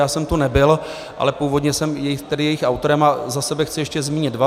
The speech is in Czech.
Já jsem tu nebyl, ale původně jsem tedy jejich autorem a za sebe chci ještě zmínit dva.